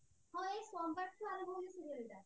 ହଁ ଏଇ ସୋମବାରଠୁ ଆରମ୍ଭ ହଉଛି serial ଟା